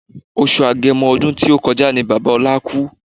Oṣù agẹmo ọdún tí ó kọjá ni Bàbá ọlá kú